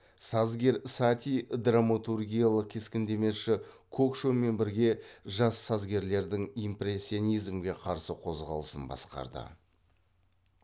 сазгер сати драматургиялық кескіндемеші кокшомен бірге жас сазгерлердің импрессионизмге қарсы қозғалысын басқарды